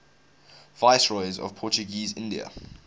viceroys of portuguese india